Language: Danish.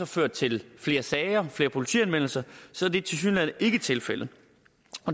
ført til flere sager flere politianmeldelser så er det tilsyneladende ikke tilfældet